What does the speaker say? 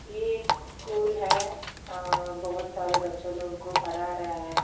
ये एक स्कूल है बहुत सारे बच्चों लोगों को पढ़ा रहा है।